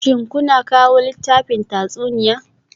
Shin kuna kawo littafin tatsuniya?